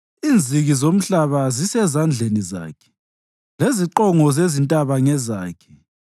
Inziki zomhlaba zisezandleni zakhe, leziqongo zezintaba ngezakhe.